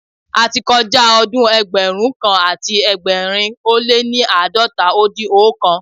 Ati kọjá ọdún ẹgbẹrun kan àti ẹgbẹ̀rin ó lé ní àádọ́ta ó dín oókan.